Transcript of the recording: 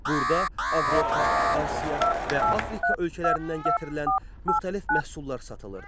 Burda Avropa, Asiya və Afrika ölkələrindən gətirilən müxtəlif məhsullar satılırdı.